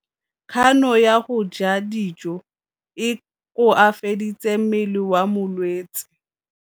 Kganô ya go ja dijo e koafaditse mmele wa molwetse.